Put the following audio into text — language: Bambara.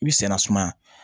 I bi senna sumaya